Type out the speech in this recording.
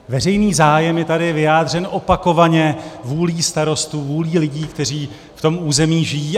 Veřejný zájem je tady vyjádřen opakovaně vůlí starostů, vůlí lidí, kteří v tom území žijí.